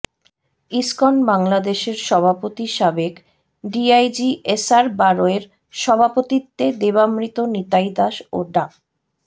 ISKCON বাংলাদেশের সভাপতি সাবেক ডিআইজি এসআর বারৈর সভাপতিত্বে দেবামৃত নিতাই দাস ও ডা